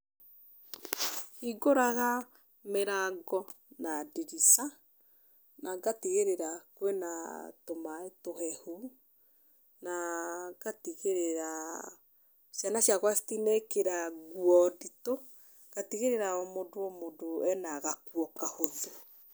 Hingũraga mĩrango na ndirica, na na ngatigĩrĩra kwĩna tũmaĩ tũhehu. Na ngatigĩrĩra ciana ciakwa citinekĩra nguo nditũ, ngatigĩrĩra o mũndũ o mũndũ ena gakuo kahũthũ.